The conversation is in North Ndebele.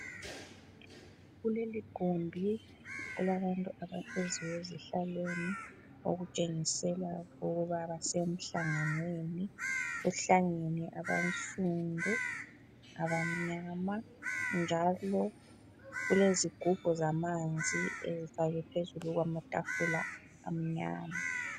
Kuleligumbi kulabantu abahleziyo ezihlalweni okutshengisela ukuba basemhlanganweni. Kuhlangene abansundu, abamnyama, njalo kulezigubhu zamanzi ezifakwe phezulu kwamatafula amnyama.